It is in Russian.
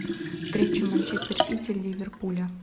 встреча манчестер сити ливерпуля